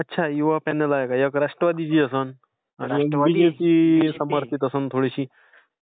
अच्छा, युवा पेनल आहे का? एक राष्ट्रवादीची असेल. आणि एक बीजेपी शी संबन्धित असेल थोडीशी.